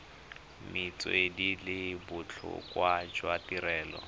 metswedi le botlhokwa jwa tirelo